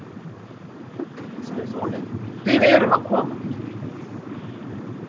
Jú, sagði Sóley, við erum að koma.